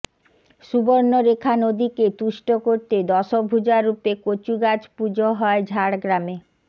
সুবর্ণরেখা নদীকে তুষ্ট করতে দশভূজা রূপে কচুগাছ পুজো হয় ঝাড়গ্রামে